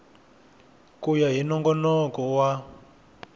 ku ya hi nongonoko wa